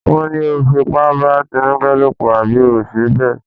Wọ́n ní o fipá bá Tinúkẹ́ lòpọ̀ àbí ò ṣe bẹ́ẹ̀?